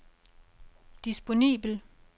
disponibel